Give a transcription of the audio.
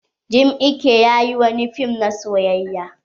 Jim iyke ya yi wani fim na soyayya.